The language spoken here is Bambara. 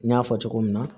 N y'a fɔ cogo min na